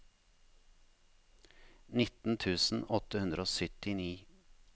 nitten tusen åtte hundre og syttini